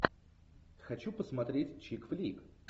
хочу посмотреть чик флик